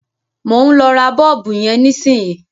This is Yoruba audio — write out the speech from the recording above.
Mò ń lọ ra bọ́ọ̀bù yẹn nísìnyìí.